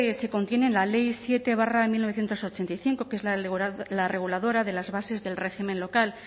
se contiene en la ley siete barra mil novecientos ochenta y cinco que es la reguladora de las bases del régimen local